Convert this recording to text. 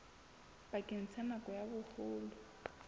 bakeng sa nako ya boholo